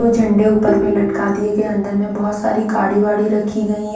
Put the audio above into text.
वो झंडे ऊपर मे लटका दिये गये है अंदर मे बहोत सारी गाड़ी वाडी रखी गईं--